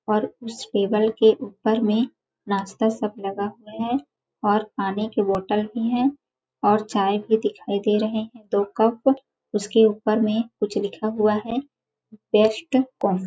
और उस टेबल के ऊपर में नाश्ता सब लगा हुआ है और पानी के बोतल भी है और चाय भी दिखाई दे रहे हैं तो कप उसके ऊपर में कुछ लिखा हुआ है बेस्ट को --